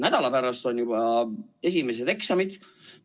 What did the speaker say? Nädala pärast on juba esimesed eksamid.